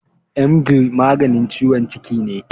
Emgyl maganin ciwon ciki ne.